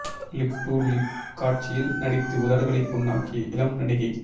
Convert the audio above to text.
lip to lip காட்சியில் நடித்து உதடுகளை புண்ணாக்கிய இளம் நடிகை